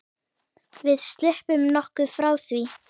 Við sluppum nokkuð frá því.